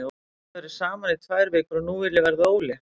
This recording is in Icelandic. Við höfum verið saman í tvær vikur og nú vil ég verða ólétt.